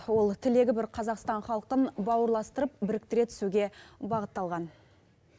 ол тілегі бір қазақстан халқын бауырластырып біріктіре түсуге бағытталған